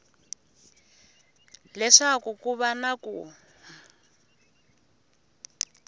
leswaku ku va na ku